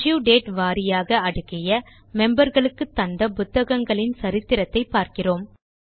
issue date வாரியாக அடுக்கிய member களுக்கு தந்த புத்தகங்களின் சரித்திரத்தை பார்க்கிறோம்